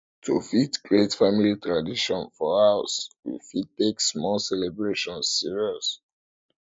to fit create family tradition for house we fit take small celebration serious